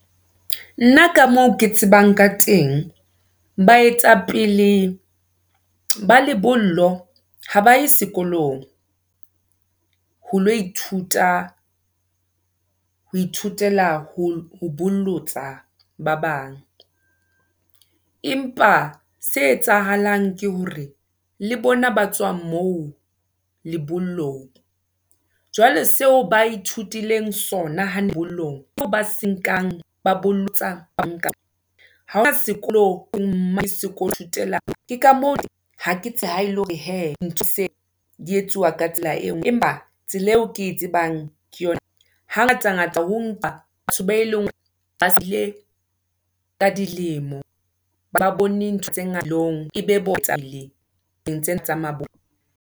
Nna ka moo ke tsebang ka teng. Baetapele, ba lebollo ha baye sekolong, ho lo ithuta, ho ithutela ho bollotsa ba bang, empa se etsahalang ke hore le bona ba tswang moo, lebollong. Jwale seo ba ithutileng sona lebollong, ba se nkang, ba bolotsa, ba nkang . ke ha ele hore hee, ntho di se di etsuwa ka tsela engwe, empa tsela eo ke e tsebang, ke . Ha ngata ngata ho nkwa batho, bao e leng hore, ba ka dilemo, ba bone ntho tse bophelong. e be ba nthong tsena tsa .